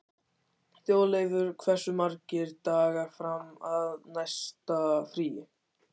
Þjóðleifur, hversu margir dagar fram að næsta fríi?